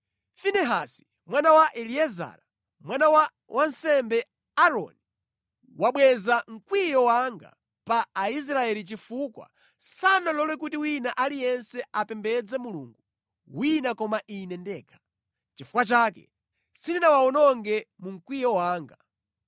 “Finehasi mwana wa Eliezara, mwana wa wansembe Aaroni wabweza mkwiyo wanga pa Aisraeli chifukwa sanalole kuti wina aliyense apembedze mulungu wina koma Ine ndekha. Nʼchifukwa chake sindinawawononge mu mkwiyo wanga.